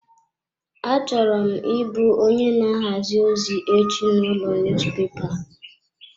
Achọrọ m ị bụ onye na ahazi ozi echi n'ụlọ niyuzupepa.